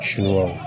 Suna